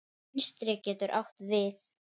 Vinstri getur átt við